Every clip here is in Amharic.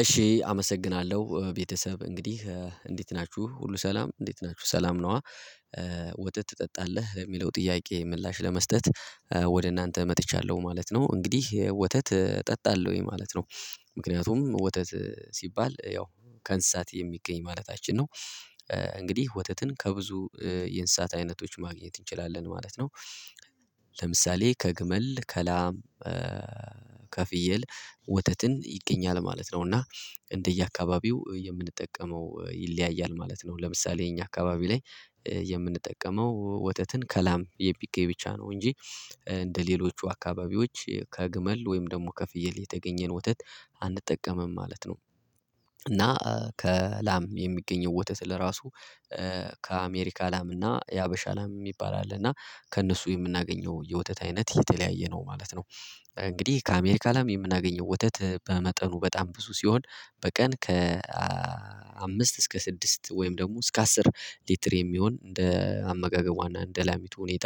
እሺ አመሰግናለሁ ቤተሰብ እንግዲህ እንዴት ናችሁ ሁሉ ሰላም እንዴት ናችሁ ሰላም ነው? ወተት ትጠጣለህ የሚለው ጥያቄ ምላሽ ለመስጠት ወደ እናንተ መጥቻለሁ ማለት ነው እንግዲህ ወተት እጠጣለሁ ወይ ማለት ነው። ምክንያቱም ወተት ሲባል ያው ከእንስሳት የሚገኝ ማለታችን ነው። እንግዲህ ወተትን ከብዙ የእንስሳት አይነቶች ማግኘት እንችላለን ማለት ነው። ለምሳሌ ከግመል ከላም ከፍየል ወተትን ይገኛል ማለት ነው። እና እንደየአካባቢው የምንጠቀመው ይለያያል ማለት ነው። ለምሳሌ የኛ አካባቢ ላይ የምንጠቀመው ወተትን ከላም የሚገኝ ብቻ ነው። እንጂ እንደሌሎቹ አካባቢዎች ከግመል ወይም ደግሞ ከፍየል የተገኘን ወተት አንጠቀምም ማለት ነው። እና ከላም የሚገኘው ወተት ለራሱ ከአሜሪካ ላም እና የሀበሻ ላም የሚባል አለ እና ከእነሱ የምናገኘው የወተት አይነት የተለያየ ነው ማለት ነው። እንግዲህ ከአሜሪካ ላም የምናገኘው ወተት በመጠኑ በጣም ብዙ ሲሆን በቀን ከ አምስት እስከ ስድስት ወይም ደግሞ እስከ አስር ሊትር የሚሆን እንደ አመጋገቧና እንደ ላሚቱ ሁኔታ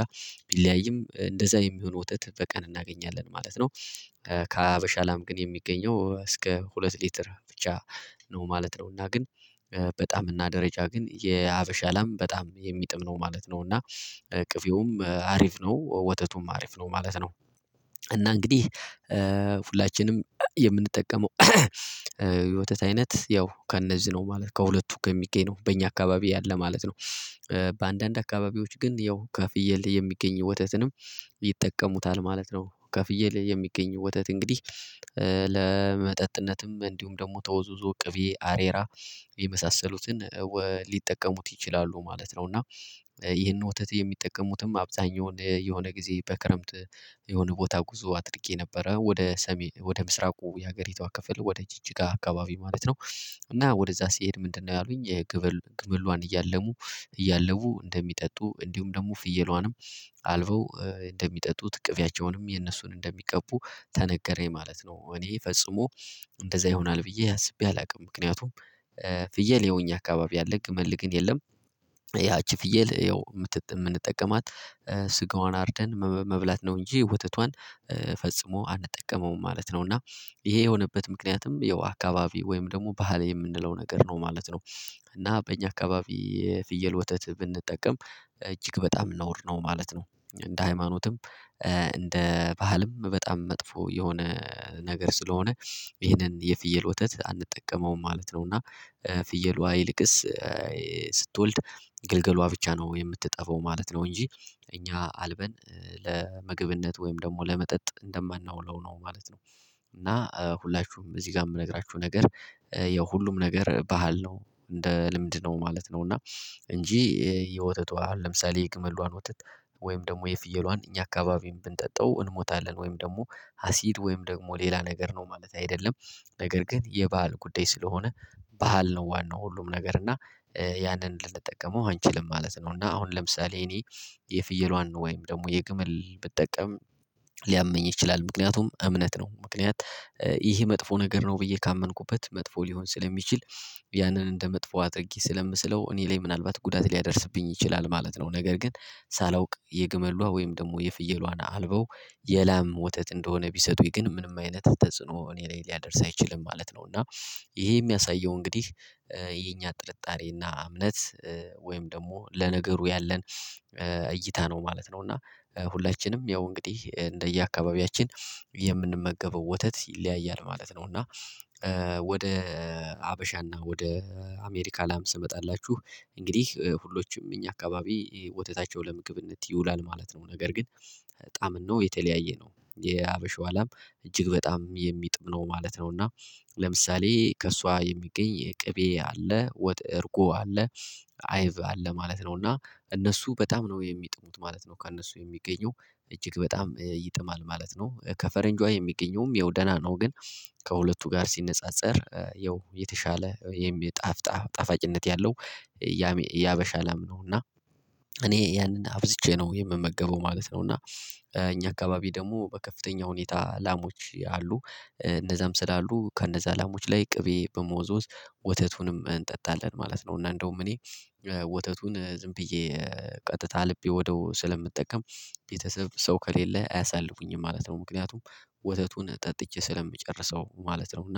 ቢለያይም እንደዛ የሚሆን ወተት በቀን እናገኛለን ማለት ነው። ከሀበሻ ላም ግን የሚገኘው እስከ ሁለት ሊትር ብቻ ነው ማለት ነው። እና ግን በጣም እና ደረጃ ግን የሀበሻ ላም በጣም የሚጥም ነው ማለት ነው እና እቅፌውም አሪፍ ነው ወተቱም አሪፍ ነው ማለት ነው። እና እንግዲህ ሁላችንም የምንጠቀመው የወተት አይነት ያው ከእነዚህ ነው ማለት ከሁለቱ ከሚገኝ ነው በእኛ አካባቢ ያለ ማለት ነው። በአንዳንድ አካባቢዎች ግን ያው ከፍየል የሚገኝ ወተትንም ይጠቀሙታል ማለት ነው። ከፍየል የሚገኝ ወተት እንግዲህ ለመጠጥነትም እንዲሁም ደግሞ ተወዝዞ ቅቤ አሬራ የመሳሰሉትን ሊጠቀሙት ይችላሉ ማለት ነው። እና ይሄንን ወተት የሚጠቀሙትም አብዛኛውን የሆነ ጊዜ በክረምት የሆነ ቦታ ጉዞ አድርጌ ነበረ ወደ ሰሜን ወደ ምስራቁ የሀገሪቷ ክፍል ወደ ጅጅጋ አካባቢ ማለት ነው። እና ወደዛ ሲሄድ ምንድነው ያሉኝ የግመል ግመልዋን እያለሙ እያለቡ እንደሚጠጡ እንዲሁም ደግሞ ፍየሏንም አልበው እንደሚጠጡ እቅፊያቸውንም የነሱን እንደሚቀቡ ተነገረኝ ማለት ነው። እኔ ፈጽሞ እንደዛ ይሆናል ብዬ አስቤ አላውቅም። ምክንያቱም ፍየል የሆነ አካባቢ አለ ግመል ግን የለም። ያቺ ፍየል ያው የምንጠቀማት ስጋዋን አርደን መብላት ነው እንጂ ወተቷን ፈጽሞ አንጠቀመውም ማለት ነው። እና ይሄ የሆነበት ምክንያትም ያው አካባቢ ወይም ደግሞ ባህል የምንለው ነገር ነው ማለት ነው። እና በእኛ አካባቢ የፍየል ወተት ብንጠቀም እጅግ በጣም ነውር ነው ማለት ነው። እንደ ሃይማኖትም እንደ ባህልም በጣም መጥፎ የሆነ ነገር ስለሆነ ይሄንን የፍየል ወተት አንጠቀመውም ማለት ነው። እና ፍየሏ ይልቅስ ስትወልድ ግልገሏ ብቻ ነው የምትጠባው ማለት ነው እንጂ እኛ አልበን ለምግብነት ወይም ደግሞ ለመጠጥ እንደማናውለው ነው ማለት ነው። እና ሁላችሁም እዚህ ጋር የምነግራችሁ ነገር የሁሉም ነገር ባህል ነው እንደ ልምድ ነው ማለት ነው። እና እንጂ የወተቷ ለምሳሌ የግመሏን ወተት ወይም ደግሞ የፍየሏን እኛ አካባቢን ብንጠጣው እንሞታለን ወይም ደግሞ አሲድ ወይም ደግሞ ሌላ ነገር ነው ማለት አይደለም። ነገር ግን የባህል ጉዳይ ስለሆነ ባህል ነው ዋናው ሁሉም ነገር እና ያንን ልንጠቀመው አንችልም ማለት ነው። እና አሁን ለምሳሌ እኔ የፍየሏን ወይም ደግሞ የግመል ብጠቀም ሊያመኝ ይችላል ምክንያቱም እምነት ነው ምክንያት ይሄ መጥፎ ነገር ነው ብዬ ካመንኩበት መጥፎ ሊሆን ስለሚችል ያንን እንደ መጥፎ አድርጊ ስለምስለው እኔ ላይ ምናልባት ጉዳት ሊያደርስብኝ ይችላል ማለት ነው። ነገር ግን ሳላውቅ የግመሏ ወይም ደግሞ የፍየሏን አልበው የላም ወተት እንደሆነ ቢሰጡኝ ግን ምንም አይነት ተጽዕኖ እኔ ላይ ሊያደርስ አይችልም ማለት ነው። እና ይሄ የሚያሳየው እንግዲህ የኛ ጥርጣሬና እምነት ወይም ደግሞ ለነገሩ ያለን እይታ ነው ማለት ነው። እና ሁላችንም ያው እንግዲህ እንደየአካባቢያችን የምንመገበው ወተት ይለያያል ማለት ነው። እና ወደ ሀበሻና ወደ አሜሪካ ላም ስመጣላችሁ እንግዲህ ሁሎችም እኛ አካባቢ ወተታቸው ለምግብነት ይውላል ማለት ነው። ነገር ግን ጣዕምናው የተለያየ ነው የሀበሻው አላም እጅግ በጣም የሚጥም ነው ማለት ነው። እና ለምሳሌ ከእሷ የሚገኝ የቅቤ አለ እርጎ አለ አይብ አለ ማለት ነው። እና እነሱ በጣም ነው የሚጥሙት ማለት ነው ከእነሱ የሚገኙ እጅግ በጣም ይጥማል ማለት ነው። ከፈረንጇ የሚገኘም ያው ደህና ነው ግን ከሁለቱ ጋር ሲነጻጸር የው የተሻለ የሚጣፍጣ ጣፋጭነት ያለው የሀበሻ ላም ነው። እና እኔ ያንን አብዝቼ ነው የምመገበው ማለት ነው። እና እኛ አካባቢ ደግሞ በከፍተኛ ሁኔታ ላሞች አሉ እነዛም ስላሉ ከነዛ ላሞች ላይ ቅቤ በመወዝወዝ ወተቱንም እንጠጣለን ማለት ነው። እና እንደውም እኔ ወተቱን ዝም ብዬ ቀጥታ አልቤ ወዲያው ስለምጠቀም ቤተሰብ ሰው ከሌለ አያሳልቡኝም ማለት ነው። ምክንያቱም ወተቱን ጠጥቼ ስለምጨርሰው ማለት ነው እና